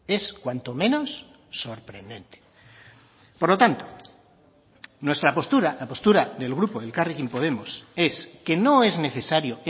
es cuanto menos sorprendente por lo tanto nuestra postura la postura del grupo elkarrekin podemos es que no es necesario